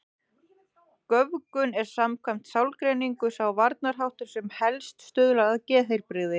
Göfgun er samkvæmt sálgreiningu sá varnarháttur sem helst stuðlar að geðheilbrigði.